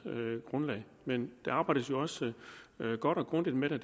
grundlag men der arbejdes jo også godt og grundigt med det